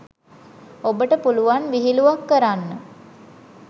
ඔබට පුළුවන් විහිළුවක් කරන්න